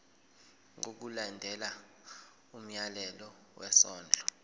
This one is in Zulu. ngokulandela umyalelo wesondlo